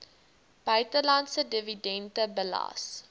buitelandse dividende belas